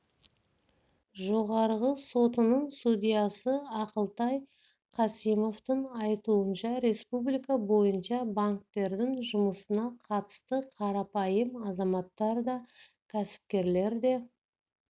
жоғарғы сотының судьясы ақылтай касимовтың айтуынша республика бойынша банктердің жұмысына қатысты қарапайым азаматтар да кәсіпкерлер де